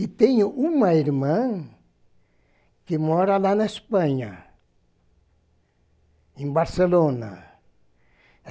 E tenho uma irmã que mora lá na Espanha, em Barcelona.